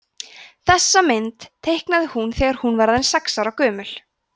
þessa mynd teiknaði hún þegar hún var aðeins sex ára gömul